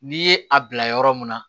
N'i ye a bila yɔrɔ mun na